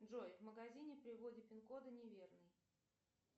джой в магазине при вводе пин кода неверный